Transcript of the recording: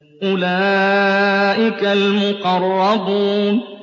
أُولَٰئِكَ الْمُقَرَّبُونَ